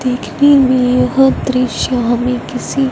देखने में यह दृश्य हमें किसी--